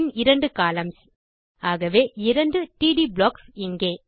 பின் இரண்டு கொலம்ன்ஸ் ஆகவே இரண்டு டிடி ப்ளாக்ஸ் இங்கே